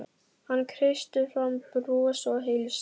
Hann kreistir fram bros og heilsar.